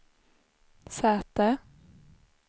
säte